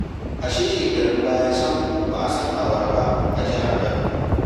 A shekarun baya sam ba'a san awara ba a jihar Kano.